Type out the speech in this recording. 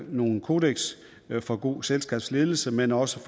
nogle kodekser for god selskabsledelse men også